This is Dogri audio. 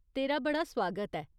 तेरा बड़ा सुआगत ऐ।